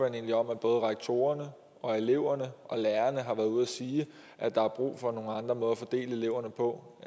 egentlig om at både rektorerne og eleverne og lærerne har været ude at sige at der er brug for nogle andre måder at fordele eleverne på